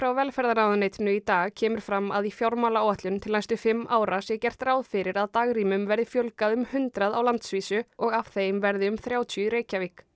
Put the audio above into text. velferðarráðuneytinu í dag kemur fram að í fjármálaáætlun til næstu fimm ára sé gert ráð fyrir að dagrýmum verði fjölgað um eitt hundrað á landsvísu og af þeim verði um þrjátíu í Reykjavík